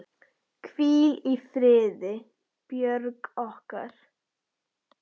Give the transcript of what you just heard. Hvíl í friði, Björg okkar.